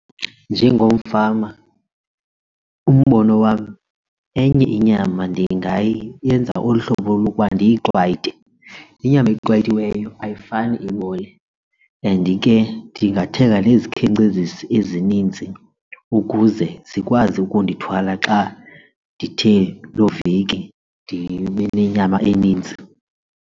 Njengomfama umbono wam enye inyama ndingayenza olu hlobo lokuba ndiyiqwayite. Inyama eqwayitiweyo ayifani ibole and ke ndingathenga nezikhenkcezisi ezininzi ukuze zikwazi ukundithwala xa ndithe loo veki ndibe nenyama eninzi.